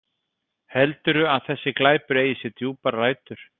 Heldurðu að þessi glæpur eigi sér djúpar rætur?